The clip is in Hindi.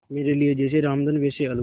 मेरे लिए जैसे रामधन वैसे अलगू